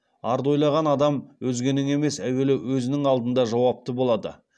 арды ойлаған адам өзгенің емес әуелі өзінің алдында жауапты болады